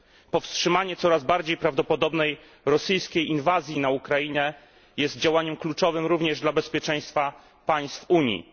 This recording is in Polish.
Powstrzymanie coraz bardziej prawdopodobnej rosyjskiej inwazji na Ukrainę jest działaniem kluczowym również dla bezpieczeństwa państw Unii.